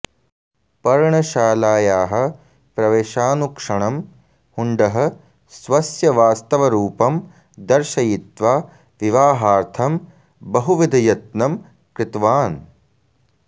पर्णशालायाः प्रवेशानुक्षणं हुण्डः स्वस्य वास्तवरूपं दर्शयित्वा विवाहार्थं बहुविधयत्नं कृतवान्